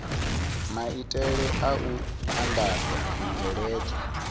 maitele a u andadza zwibveledzwa